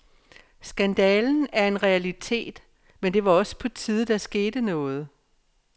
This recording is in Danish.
Skandalen er en realitet, men det var også på tide, der skete noget.